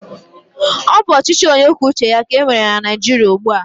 Ọ bụ ọchịchị onyekwuoucheya ka e nwere na Naịjiria ugbu a.